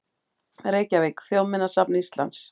Reykjavík: Þjóðminjasafn Íslands.